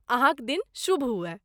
अहाँक दिन शुभ हुअय।